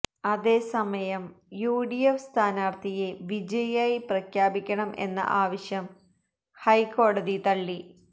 അതേസമയം യുഡിഎഫ് സ്ഥാനാർത്ഥിയെ വിജയിയായി പ്രഖ്യാപിക്കണം എന്ന ആവശ്യം ഹൈക്കോടതി തള്ളി